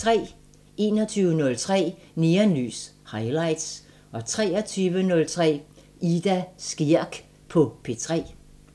21:03: Neonlys – Highlights 23:03: Ida Skjerk på P3